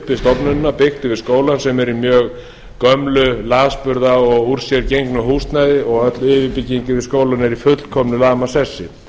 við stofnunina byggt yfir skólann sem er í mjög gömlu lasburða og úr sér gengnu húsnæði og öll yfirbygging yfir skólann er í fullkomnu lamasessi